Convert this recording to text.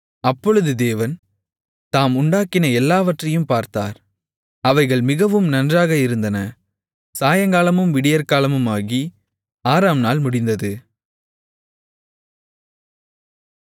அப்பொழுது தேவன் தாம் உண்டாக்கின எல்லாவற்றையும் பார்த்தார் அவைகள் மிகவும் நன்றாக இருந்தன சாயங்காலமும் விடியற்காலமுமாகி ஆறாம் நாள் முடிந்தது